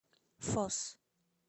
фос